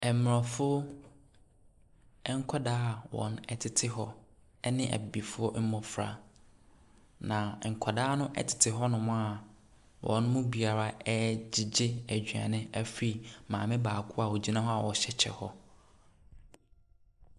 Mmrɔfo nkwadaa a wɔtete hɔ ɛne Abibifoɔ mmofra na nkwadaa no tete hɔnom a wɔ mu biara regyegye aduane afiri maame baako a ogyina hɔ a ɔhyɛ kyɛ hɔ.